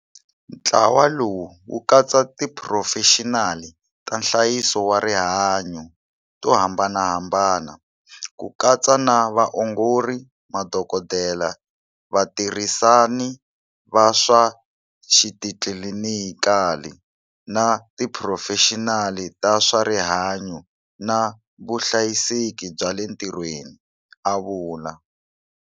Ntlawa lowu wu katsa tiphurofexinali ta nhlayiso wa rihanyu to hambanahambana, ku katsa na vaongori, madokodela, vatirhisani va swa xitlilinikali, na tiphurofexinali ta swa rihanyu na vuhlayiseki bya le ntirhweni, a vula.